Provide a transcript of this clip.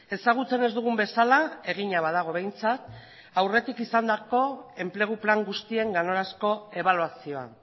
ezagutzen ez dugun bezala egina badago behintzat aurretik izandako enplegu plan guztien ganorazko ebaluazioa